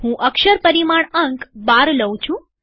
હું અક્ષર પરિમાણ અંક ૧૨ લઉં છું